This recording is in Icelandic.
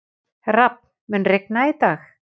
Rafn, mun rigna í dag?